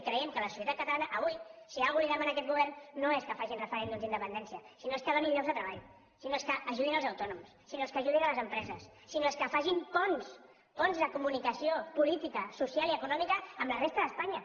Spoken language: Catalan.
i creiem que la societat catalana avui si alguna cosa li demana a aquest govern no és que facin referèndums d’independència sinó que donin llocs de treball sinó que ajudin els autònoms sinó que ajudin les empreses sinó que facin ponts ponts de comunicació política social i econòmica amb la resta d’espanya